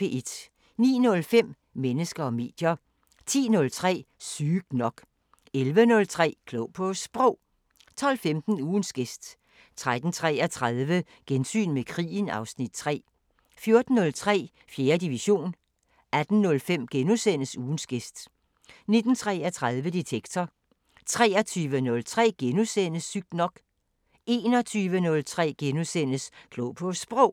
09:05: Mennesker og medier 10:03: Sygt nok 11:03: Klog på Sprog 12:15: Ugens gæst 13:33: Gensyn med krigen (Afs. 3) 14:03: 4. division 18:05: Ugens gæst * 19:33: Detektor 20:03: Sygt nok * 21:03: Klog på Sprog *